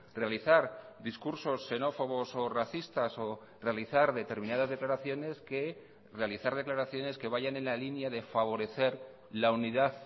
realizar discursos xenófobos o racistas o realizar determinadas declaraciones que realizar declaraciones que vayan en la línea de favorecer la unidad